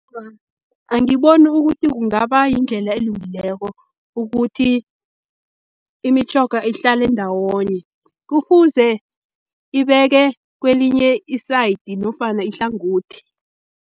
Angiboni ukuthi kungaba yindlela elungileko ukuthi imitjhoga ihlale ndawonye, kufuze ibeke kwelinye i-side nofana ihlangothi.